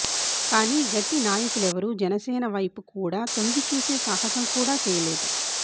కానీ గట్టి నాయకులెవరూ జనసేన వైపు కూడా తొంగిచూసే సాహసం కూడా చేయలేదు